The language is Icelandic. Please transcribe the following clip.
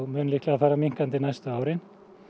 mun líklega fara minnkandi næstu árin